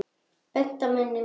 Bent á mennina mína.